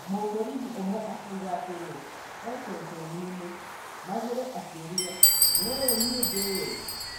Mũborithi ũmwe akiuga atĩrĩ, e-ceceniĩni: Magũre akĩuria "Nĩũĩ niĩ ndĩũ?